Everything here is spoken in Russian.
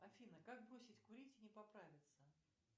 афина как бросить курить и не поправиться